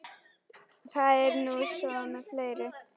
Það er nú svo með fleiri.